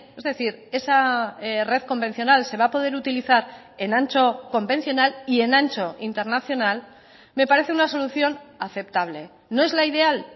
es decir esa red convencional se va a poder utilizar en ancho convencional y en ancho internacional me parece una solución aceptable no es la ideal